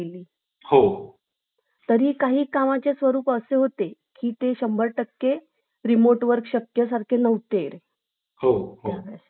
करण्याची जिद्द हवी तुम्हाला नोकरीत कोणत्याही प्रकारचा धोका पत्करावा लागत नाही तर व्यवसायात तुम्हाला पूर्णपणे जोखमीवर आधारित आहे